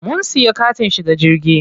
Mun siya katin shiga jirgi.